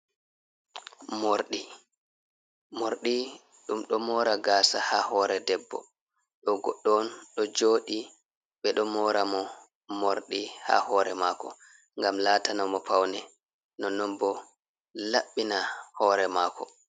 Morɗi morɗi ɗum ɗo mora gasa ha hore debbo ɗo goɗɗo ɗo jooɗi ɓeɗo mora mo morɗi ha hore mako ngam latana mo paune non non bo labbina hore mako.